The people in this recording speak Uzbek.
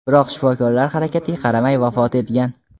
biroq shifokorlar harakatiga qaramay vafot etgan.